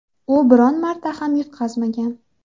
U biron marta ham yutqazmagan.